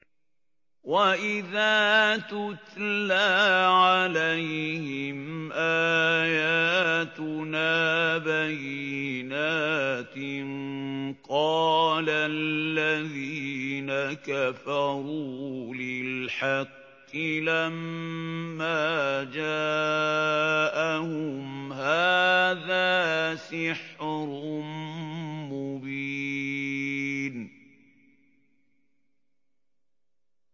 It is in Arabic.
وَإِذَا تُتْلَىٰ عَلَيْهِمْ آيَاتُنَا بَيِّنَاتٍ قَالَ الَّذِينَ كَفَرُوا لِلْحَقِّ لَمَّا جَاءَهُمْ هَٰذَا سِحْرٌ مُّبِينٌ